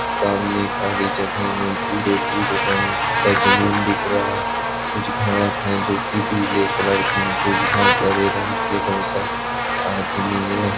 सामने खाली जगह में भूरे- भूरे रंग का जमीन दिख रहा कुछ घास है जोकि पिले कलर की है कुछ घास हरे रंग की हैं बहुत सारे आदमी हैं।